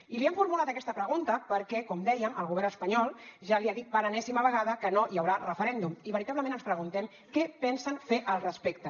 i li hem formulat aquesta pregunta perquè com dèiem el govern espanyol ja li ha dit per enèsima vegada que no hi haurà referèndum i veritablement ens preguntem què pensen fer al respecte